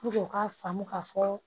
u k'a faamu ka fɔ